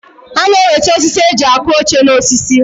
A na-enwete osisi e ji akụ oche N'osisi.